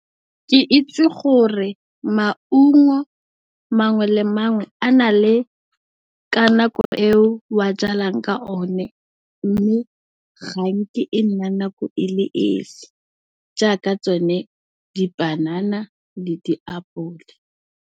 Ke itse gore maungo mangwe le mangwe a na le ka nako eo wa jalang ka o ne mme, ga nke e nna nako e le esi jaaka tsone di panana le di apole.